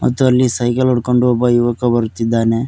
ಇದರಲ್ಲಿ ಸೈಕಲ್ ಹುಡ್ಕೊಂಡು ಒಬ್ಬ ಯುವಕ ಬರ್ತಿದ್ದಾನೆ.